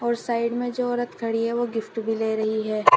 और साइड में जो औरत खड़ी है वो गिफ्ट भी ले रही है।